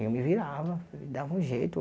Eu me virava, dava um jeito.